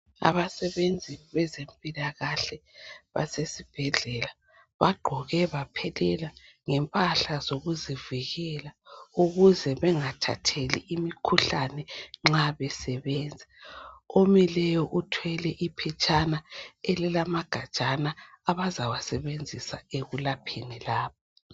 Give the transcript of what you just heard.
Abasebenzi bezempilakahle basesibhedlela, bagqoke baphelela ngempahla zokuzivikela ukuze bengathatheli imikhuhlane nxa besebenza. Omileyo uthwele iphetshana elilamagajana abazawasebenzisa ekulapheni la.